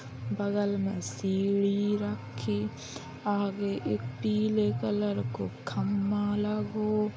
बगल में सीढ़ी रक्खी । आगे एक पीले कलर को खम्मा लगों।